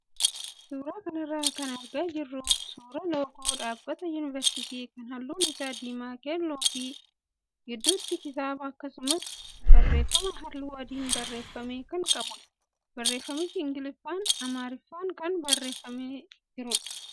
Suuraa kanarraa kan argaa jirru suuraa loogoo dhaabbata yuunivarsitii kan halluun isaa diimaa, keelloo fi gidduutti kitaaba akkasumas barreeffama halluu adiin barreeffame kan qabudha. Barreeffamichis ingiliffaa amaariffaan kan barreeffamee jirudha.